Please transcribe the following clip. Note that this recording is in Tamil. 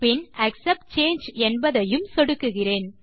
பின் ஆக்செப்ட் சாங்கே என்பதையும் சொடுக்குகிறேன்